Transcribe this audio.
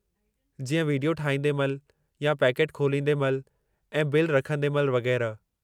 जीअं विडियो ठाहींदे महिल या पैकेटु खोलींदे महिल ऐं बिल रखंदे महिल वगै़रह।